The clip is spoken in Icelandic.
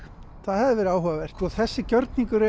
það hefði verið áhugavert þessi gjörningur